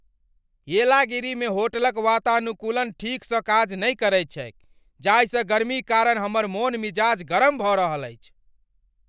येलागिरी मे होटलक वातानुकूलन ठीकसँ काज नहि करैत छैक जाहिसँ गर्मीक कारण हमर मोन मिजाज गरम भऽ रहल अछि।